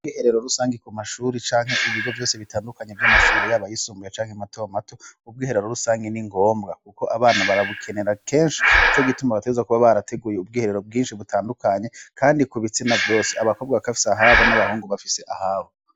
Ubwiherero rusangi ku mashuri canke ibigo vyose bitandukanye vy'amashure yaba yisumbuye canke mato mato, ubwiherero rusange ni ngombwa kuko abana barabukenera kenshi nico gituma bateza kuba barateguye ubwiherero bwinshi butandukanye kandi ku bitsina vyose abakobwa kakaba bafise ahabo n'abahungu bafise ahabo.